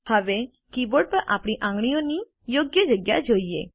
હવે કીબોર્ડ પર આપણી આંગળીઓની યોગ્ય જગ્યા જોઈએ